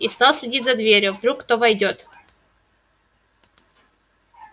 и стал следить за дверью вдруг кто войдёт